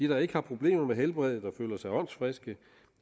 der ikke har problemer med helbredet og føler sig åndsfriske